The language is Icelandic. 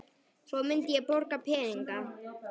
Svo myndi ég borga peninga